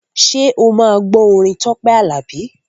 Ṣé o máa gbọ́ orin Tọ́pẹ́ Àlàbí?